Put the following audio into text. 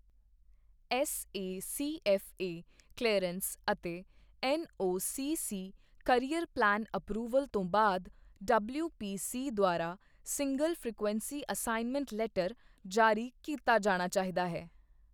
SACFA clearance ਅਤੇ NOCC carrier plan approval ਤੋਂ ਬਾਅਦ, ਡਬਲਿਊਪੀਸੀ ਦੁਆਰਾ ਸਿੰਗਲ ਫ੍ਰੀਕਵੈਂਸੀ ਅਸਾਈਨਮੈਂਟ ਲੈਟਰ ਜਾਰੀ ਕੀਤਾ ਜਾਣਾ ਚਾਹੀਦਾ ਹੈ।